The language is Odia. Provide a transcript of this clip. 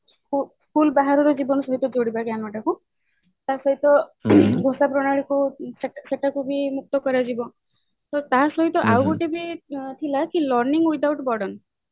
school ବାହାରର ଜୀବନ ସହିତ ବଢିବା ଜ୍ଞାନଟାକୁ ତା ସହିତ ଘୋଷା ପ୍ରଣାଳୀ କୁ ସେଟାକୁ ବି ମୁକ୍ତ କରାଯିବ ତ ତା ସହିତ ଆଉ ଗୋଟେ ବି ଥିଲା କି learning without burden